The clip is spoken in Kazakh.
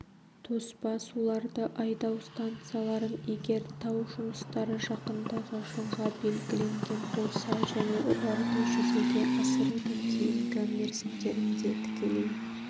тоспа суларды айдау станцияларын егер тау жұмыстары жақындағы жылға белгіленген болса және оларды жүзеге асырудың кейінгі мерзімдерінде тікелей